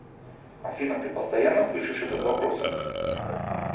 афина ты постоянно слышишь этот вопрос